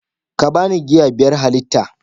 ka ba ni giya biyar halitta